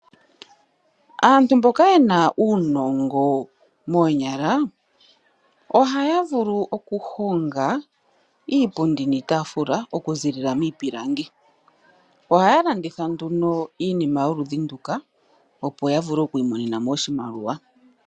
Aantu mboka ye na uunongo moonyala ohaya vulu okuhonga iipundi niitaafula okuziilila miipilangi. Ohaya landitha iinima yoludhi nduka, opo ya vule oku imonena mo iimaliwa.